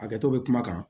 Hakɛto bɛ kuma kan